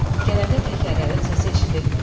Gələndə təkərlərin səsi eşidilmirdi.